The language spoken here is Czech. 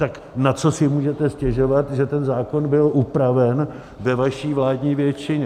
Tak na co si můžete stěžovat, že ten zákon byl upraven ve vaší vládní většině.